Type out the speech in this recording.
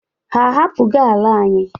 Ha ahapụgo ala anyị?